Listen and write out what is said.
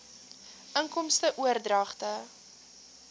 inkomste oordragte